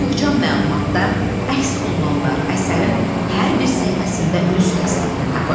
Bu yığcam məlumatda əks olunanlar əsərin hər bir səhifəsində öz təsdiqini tapır.